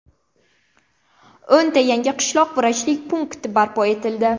O‘nta yangi qishloq vrachlik punkti barpo etildi.